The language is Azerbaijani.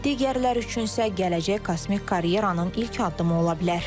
digərləri üçün isə gələcək kosmik karyeranın ilk addımı ola bilər.